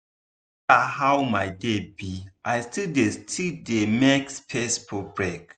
no matter how my day be i still dey still dey make space for break.